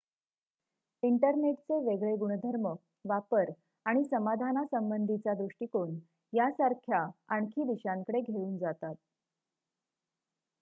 इंटरनेटचे वेगळे गुणधर्म वापर आणि समाधानासंबंधीचा दृष्टीकोण यांसारख्या आणखी दिशांकडे घेऊन जातात